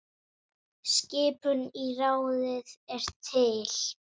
Skipun í ráðið er til